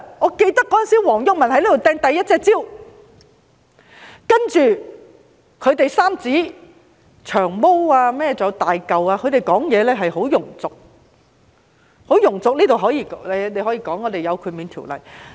我記得當時黃毓民在這裏擲出第一隻香蕉，然後三子——還有"長毛"和"大嚿"，他們的發言十分庸俗，大家或會說這方面有豁免條例。